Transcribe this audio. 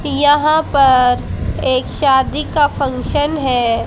यहां पर एक शादी का फंक्शन है।